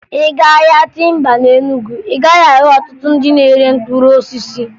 Ị gaa ahịa timba na Enugu, ị gaghị ahụ ọtụtụ ndị na-ere mkpụrụ osisi